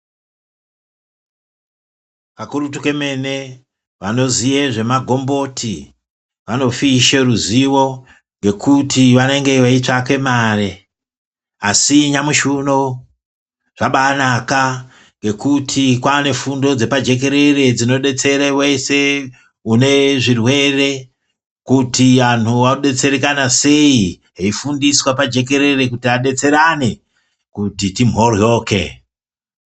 Kakurutu kemene vanoziye zvemagomboti vanofishe ruzivo ngekuti vanenge veitsvake mare. Asi nyamushi uno zvabanaka ngekuti kwane fundo dzepajekerere dzinobetsere vese unezvirwere. Kuti vantu vobetserekana sei eifundiswa pajekerere kuti abetserane kuti timhoryoke.